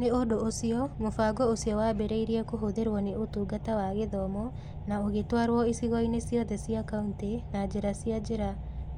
Nĩ ũndũ ũcio, mũbango ũcio waambĩrĩirie kũhũthĩrũo nĩ Ũtungata wa Gĩthomo na ũgĩtwarwo icigo-inĩ ciothe cia kauntĩ na njĩra cia njĩra